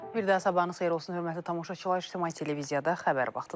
Bir daha sabahınız xeyir olsun, hörmətli tamaşaçılar, İtimay televiziyada Xəbər vaxtı.